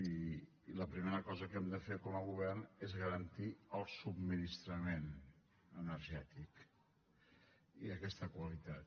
i la primera cosa que hem de fer com a govern és garantir el subministrament energètic i aquesta qualitat